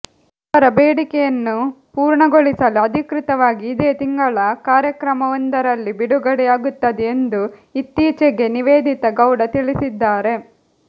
ಅವರ ಬೇಡಿಕೆಯನ್ನು ಪೂರ್ಣಗೊಳಿಸಲು ಅಧಿಕೃತವಾಗಿ ಇದೇ ತಿಂಗಳ ಕಾರ್ಯಕ್ರಮವೊಂದರಲ್ಲಿ ಬಿಡುಗಡೆಯಾಗುತ್ತದೆ ಎಂದು ಇತ್ತೀಚೆಗೆ ನಿವೇದಿತಾ ಗೌಡ ತಿಳಿಸಿದ್ದಾರೆ